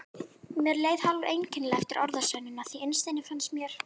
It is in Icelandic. Mér leið hálfeinkennilega eftir orðasennuna, því innst inni fannst mér